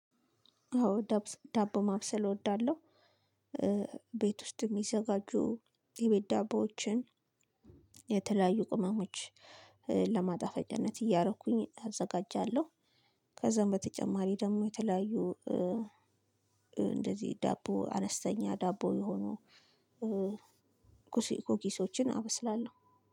አዎ ዳቦ ማብሰል እወዳለሁ ቤት ውስጥ የሚዘጋጁ የቤት ዳቦዎችን የተለያዩ ቅመሞች ለማጣፈጫነት እያረኩኝ አዘጋጃለሁ። ከዛም በተጨማሪ ደግሞ የተለለያዩ እንደዚህ ዳቦ አነስተኛ ዳቦ የሆኑ ኩኪሶችን አበስላለሁ።